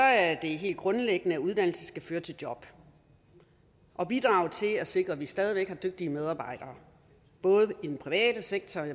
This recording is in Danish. er det helt grundlæggende at uddannelse skal føre til job og bidrage til at sikre at vi stadig væk har dygtige medarbejdere i den private sektor